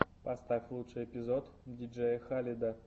поставь лучший эпизод диджея халеда